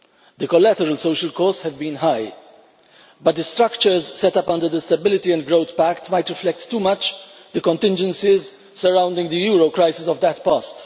The collateral social costs have been high, but the structures set up under the Stability and Growth Pact might reflect too much the contingencies surrounding the euro crisis of that past.